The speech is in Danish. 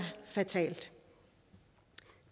fatalt